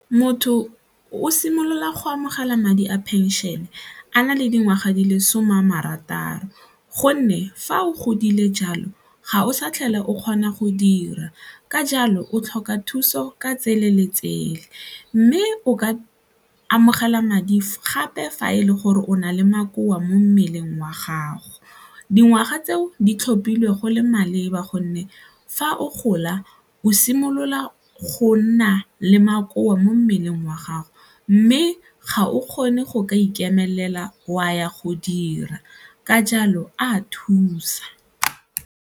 Motho o simolola go amogela madi a phenšene a na le dingwaga di le some a marataro gonne fa o godile jalo, ga o sa tlhole o kgona go dira ka jalo o tlhoka thuso ka tsele le tsele mme o ka amogela madi gape fa e le gore o na le makoa mo mmeleng wa gago. Dingwaga tseo di tlhophile go le maleba gonne fa o gola o simolola go nna le makoa mo mmeleng wa gago mme ga o kgone go ka ikemelela o a ya go dira ka jalo a thusa.